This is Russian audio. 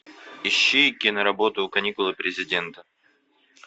ищи киноработу каникулы президента